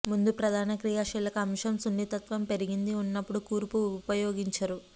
మందు ప్రధాన క్రియాశీలక అంశం సున్నితత్వం పెరిగింది ఉన్నప్పుడు కూర్పు ఉపయోగించరు